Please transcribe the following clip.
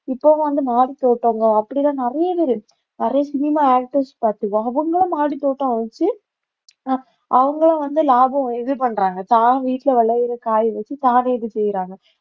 இப்பவும் வந்து மாடி தோட்டங்க அப்படி எல்லாம் நிறைய பேரு நிறைய சினிமா actors பார்த்து அவங்களும் மாடித்தோட்டம் வச்சு அஹ் அவங்களும் வந்து லாபம் இது பண்றாங்க தான் வீட்டுல விளையிற காயை வச்சு தான் இது செய்யறாங்க